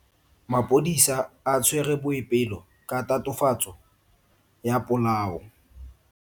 Maphodisa a tshwere Boipelo ka tatofatso ya polao.